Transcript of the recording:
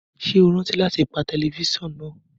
Ṣe o rántí lati pa tẹlifisiọnu naa!?